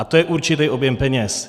A to je určitý objem peněz.